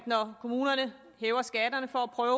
når kommunerne hæver skatterne for at prøve